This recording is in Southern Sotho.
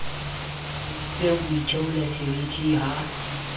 be o itheola seriti ha